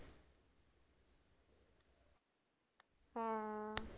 ਹਾਂ